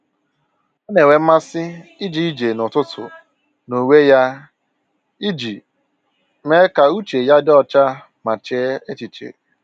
Ọ na-enwe mmasị ije ije n'ụtụtụ n'onwe ya iji mee ka uche ya dị ọcha ma chee echiche